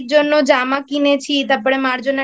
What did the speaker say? জামা কিনেছি তারপরে মার জন্য